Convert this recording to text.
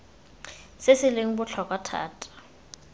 se se leng botlhokwa thata